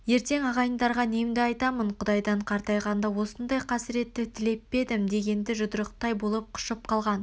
ертең ағайындарға немді айтамын құдайдан қартайғанда осындай қасыретті тілеп пе едім дегенде жұдырықтай болып қушып қалған